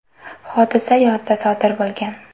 Hodisa yozda sodir bo‘lgan.